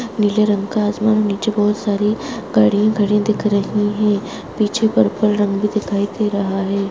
नीले रंग का आसमान नीचे बहोत सारी गाड़ियाँ खड़ी दिख रही हैं पीछे पर्पल रंग भी दिखाई दे रहा है।